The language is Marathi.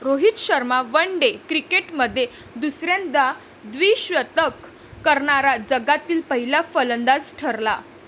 रोहित शर्मा वनडे क्रिकेटमध्ये दुसऱ्यांदा द्विशतक करणारा जगातील पहिला फलंदाज ठरला.